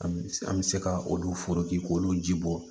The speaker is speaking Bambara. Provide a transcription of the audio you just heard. An bɛ se ka olu forotigi k'olu ji bɔ